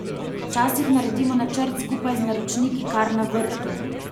Včasih naredimo načrt skupaj z naročniki kar na vrtu.